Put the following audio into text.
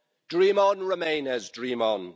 Dream on, remainers, dream on.